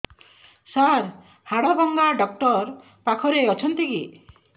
ସାର ହାଡଭଙ୍ଗା ଡକ୍ଟର ପାଖରେ ଅଛନ୍ତି କି